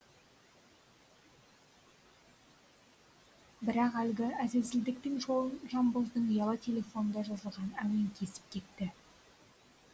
бірақ әлгі әз әзілдіктің жолын жанбоздың ұялы телефонында жазылған әуен кесіп кетті